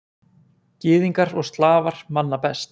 Gyðingar og Slafar manna best.